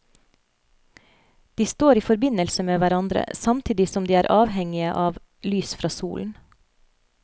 De står i forbindelse med hverandre, samtidig som de er avhengige av lys fra solen.